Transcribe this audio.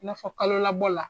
I n'a fɔ kalo labɔ la.